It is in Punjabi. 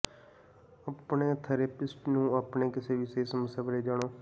ਆਪਣੇ ਥੈਰੇਪਿਸਟ ਨੂੰ ਆਪਣੇ ਕਿਸੇ ਵੀ ਸਿਹਤ ਸਮੱਸਿਆ ਬਾਰੇ ਜਾਣੋ